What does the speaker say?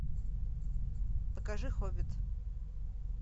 покажи хоббит